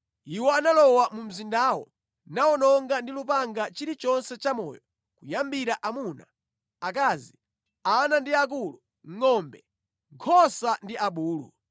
Iwo analowa mu mzindawo nawononga ndi lupanga chilichonse chamoyo kuyambira amuna, akazi, ana ndi akulu, ngʼombe, nkhosa ndi abulu.